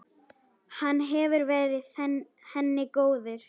Hann hefur verið henni góður.